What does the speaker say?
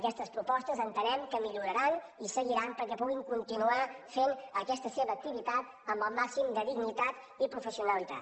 aquestes propostes entenem que milloraran i seguiran perquè puguin continuar fent aquesta seva activitat amb el màxim de dignitat i professionalitat